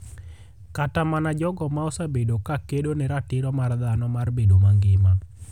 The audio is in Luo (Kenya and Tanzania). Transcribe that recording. Kata mana jogo ma osebedo ka kedo ne ratiro mar dhano mar bedo mangima.